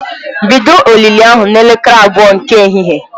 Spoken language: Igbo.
Bido olili ahụ n'elekere abụọ nke ehihie!